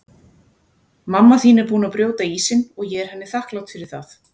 Mamma þín er búin að brjóta ísinn og ég er henni þakklát fyrir það.